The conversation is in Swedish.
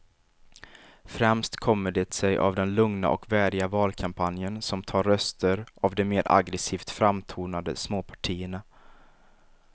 Främst kommer det sig av den lugna och värdiga valkampanjen som tar röster av de mer aggresivt framtonade småpartierna.